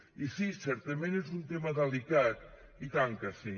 i sí certament és un tema delicat i tant que sí